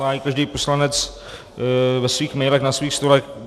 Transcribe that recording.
Má ji každý poslanec ve svých mailech na svých stolech.